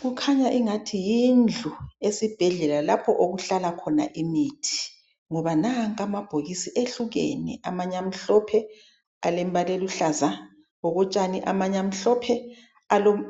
Kukhanya engathi yindlu esibhedlela lapho okuhlala khona imithi ngoba nanka amabhokisi ehlukene amanye amhlophe alembala oluhlaza okotshani, amanye amhlophe